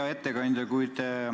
Hea ettekandja!